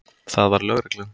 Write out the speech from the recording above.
Það var lögreglan.